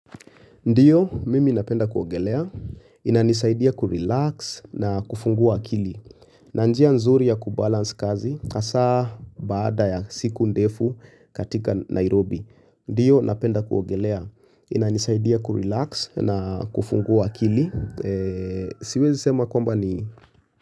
Ndiyo, mimi napenda kuogelea, inanisaidia kurelax na kufungua akili. Nanjia nzuri ya kubalance kazi, hasaa baada ya siku ndefu katika Nairobi. Ndiyo, napenda kuogelea, inanisaidia kurelax na kufungua kili. Siwezi sema kwamba ni.